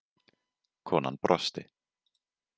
Konan brosti.